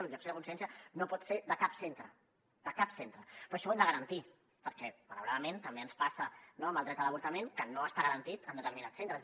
l’objecció de consciència no pot ser de cap centre de cap centre però això ho hem de garantir perquè malauradament també ens passa no amb el dret a l’avortament que no està garantit en determinats centres